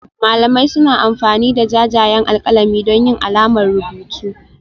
Malamai suna amfani da jajayen alƙalami don yin alamar rubutu